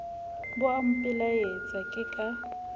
bo a mpelaetsa ke ka